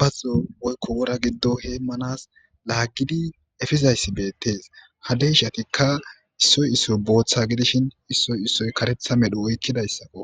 bazzo woykko wora giddo heemmanas laaggidi efizayssi beettes ha deyshatikka issoy issoy booththa gidishin issoy issoy karetha medhu oykkidayssakko.